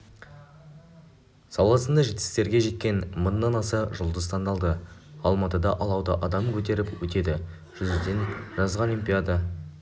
саласында жетістіктерге жеткен мыңнан аса жұлдыз таңдалды алматыда алауды адам көтеріп өтеді жүзуден жылғы олимпиада